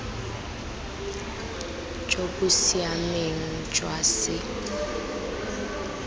jo bo siameng jwa se